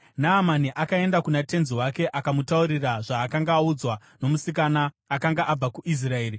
Naamani akaenda kuna tenzi wake akamutaurira zvaakanga audzwa nomusikana akanga abva kuIsraeri.